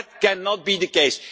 That cannot be the case.